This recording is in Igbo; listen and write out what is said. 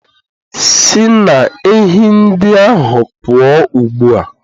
Si na ehi ndị ahụ pụọ ugbu a